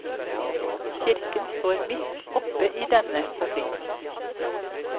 Kirken står midt oppe i denne konflikten.